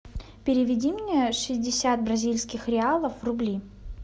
переведи мне шестьдесят бразильских реалов в рубли